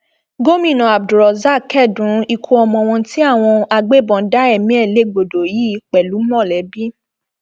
gomina abdulrozak kẹdùn ikú ọmọ wọn tí àwọn agbébọn dá ẹmí ẹ légbodò yìí pẹlú mọlẹbí